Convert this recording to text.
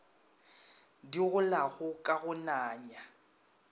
di golago ka go nanya